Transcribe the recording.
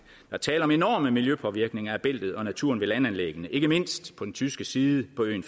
er tale om enorme miljøpåvirkninger af bæltet og af naturen ved landanlæggene ikke mindst på den tyske side på øen